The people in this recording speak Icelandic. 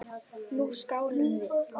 Nú skálum við!